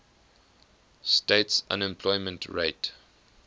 states unemployment rate